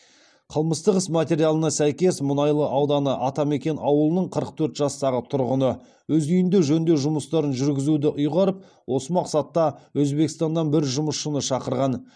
қылмыстық іс материалына сәйкес мұнайлы ауданы атамекен ауылының қырық төрт жастағы тұрғыны өз үйінде жөндеу жұмыстарын жүргізуді ұйғарып осы мақсатта өзбекстаннан бір жұмысшыны шақырған